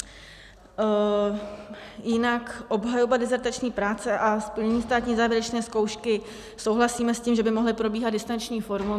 Jinak obhajoba dizertační práce a splnění státní závěrečné zkoušky, souhlasíme s tím, že by mohly probíhat distanční formou.